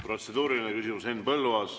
Protseduuriline küsimus, Henn Põlluaas.